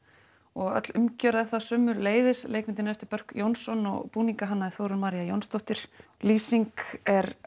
og öll umgjörð er það sömuleiðis leikmyndin er eftir Börk Jónsson og búninga hannaði Þórunn María Jónsdóttir lýsing er